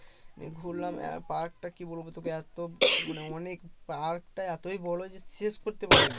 ঘুরলাম park টা কি বলবো তোকে এত মানে অনেক park টা এতই বড় যে শেষ করতে পারিনি